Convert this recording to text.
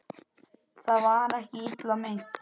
Það var ekki illa meint.